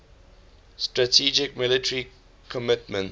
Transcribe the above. strategic military commitments